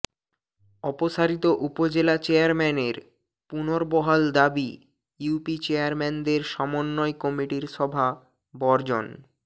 অপসারিত উপজেলা চেয়ারম্যানের পুনর্বহাল দাবি ইউপি চেয়ারম্যানদের সমন্বয় কমিটির সভা বর্জন